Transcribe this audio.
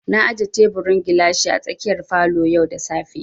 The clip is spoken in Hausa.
Na aje teburin gilashi a tsakiyar falo yau da safe